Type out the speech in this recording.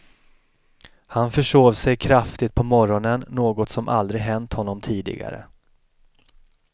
Han försov sig kraftigt på morgonen, något som aldrig hänt honom tidigare.